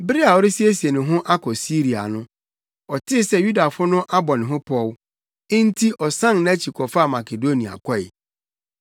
Bere a ɔresiesie ne ho akɔ Siria no, ɔtee sɛ Yudafo no abɔ ne ho pɔw; enti ɔsan nʼakyi kɔfaa Makedonia kɔe.